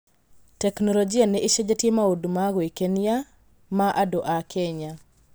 Tekinoronjĩ nĩ ĩcenjetie maũndũ ma gwĩkenia ma andũ a Kenya.